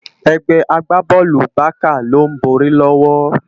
Egbè àgbábòlú Bàká ló n bòri lòwò